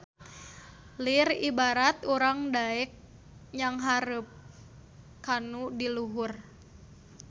Lir ibarat urang daek nyanghareup kanu di luhur